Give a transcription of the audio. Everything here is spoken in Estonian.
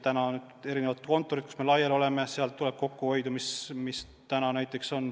Praegu on eri kontorid, me oleme laiali.